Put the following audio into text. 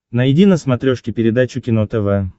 найди на смотрешке передачу кино тв